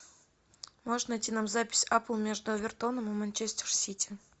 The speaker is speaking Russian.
можешь найти нам запись апл между эвертоном и манчестер сити